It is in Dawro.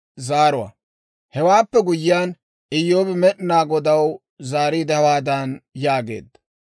Hewaappe guyyiyaan, Iyyoobi Med'inaa Godaw zaariide, hawaadan yaageedda;